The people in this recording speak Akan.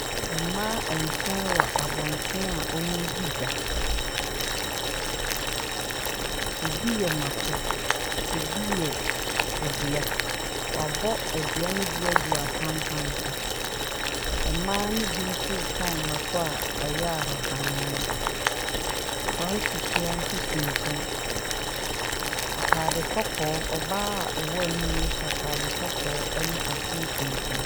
Mmaa nson wɔ abɔnten a wɔredi dwa. Ebi yɛ mmako, ebi yɛ adua. Wɔabɔ adua no bi agu apampan so. Mmaa no bi nso retɔ mmako a ɛyɛ a ahaban mono. Kwawu nsusuaa nso si nkyɛn. Atade kɔkɔɔ, ɔbaa a ɔwɔ ani no hyɛ atade kɔkɔɔ ne aseɛ tuntum.